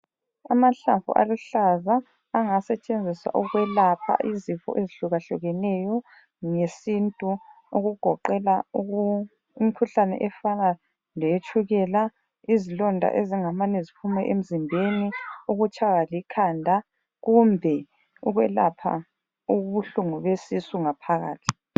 Amahlamvu aluhlaza angasetshenziswa ukwelapha izifo ezihlukahlukeneyo ngesintu okugoqela imikhuhlane efana leyetshukela, izilonda ezingamane ziphume emzimbeni, ukutshaywa likhanda kumbe ukwelapha ubuhlungu besisu ngaphakathi.